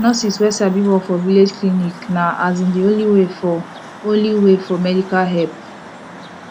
nurses wey sabi work for village clinic na asin de only way for only way for medical help